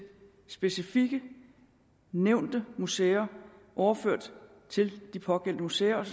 specifikt nævnte museer overført til de pågældende museer og